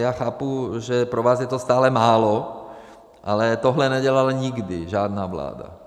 Já chápu, že pro vás je to stále málo, ale tohle nedělala nikdy žádná vláda.